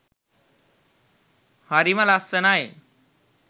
හරිම ලස්සනයි.